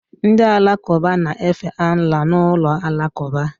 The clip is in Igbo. Ndị Alakụba na-efe Allah n'ụlọ alakụba